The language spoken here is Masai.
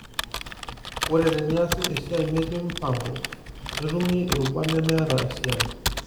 Ore teneasi esiai metii mpango, netumi irubat nemeeta esiai.